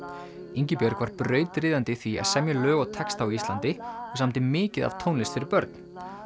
Ingibjörg var brautryðjandi í því að semja lög og texta á Íslandi og samdi mikið af tónlist fyrir börn